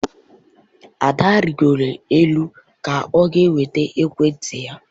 Ada rigoro elu ka o nweta ekwenti ya.